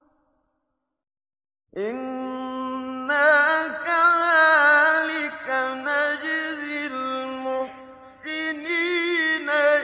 إِنَّا كَذَٰلِكَ نَجْزِي الْمُحْسِنِينَ